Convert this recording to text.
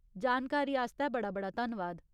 जानकारी आस्तै बड़ा बड़ा धन्नवाद।